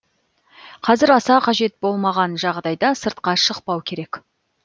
қазір аса қажет болмаған жағдайда сыртқа шықпау керек